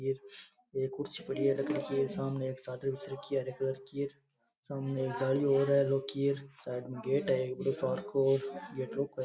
एक एक कुर्सी पड़ी है लकड़ी की एक सामने एक चादर बिछ रखी है सामने एक जाली और है लौह की साइड में एक गेट है बढ़ो सार को --